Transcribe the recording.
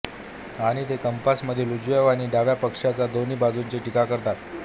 आणि ते कॅम्पसमधील उजव्या आणि डाव्या पक्षांच्या दोन्ही बाजूंनी टीका करतात